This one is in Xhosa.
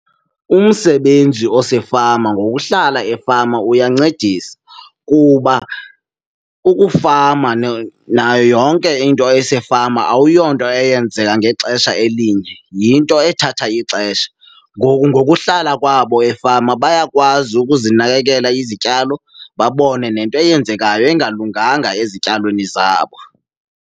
Umsebenzi osefama ngokuhlala efama uyancedisa kuba ukufama nayo yonke into esefama awuyonto eyenzeka ngexesha elinye, yinto ethatha ixesha. Ngoku ngokuhlala kwabo efama bayakwazi ukuzinakekela izityalo babone nento eyenzekayo, engalunganga ezityalweni zabo.